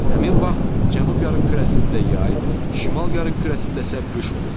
Həmin vaxt cənub yarımkürəsində yay, şimal yarımkürəsində isə qış olur.